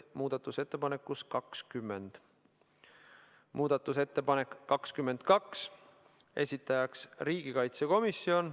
Muudatusettepanek nr 22, esitajaks on riigikaitsekomisjon ...